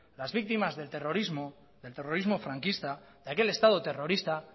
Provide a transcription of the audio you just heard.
las víctimas del terrorismo del terrorismo franquista de aquel estado terrorista